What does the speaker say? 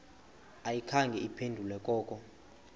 ayikhange iphendule koko